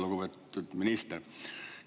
Lugupeetud minister!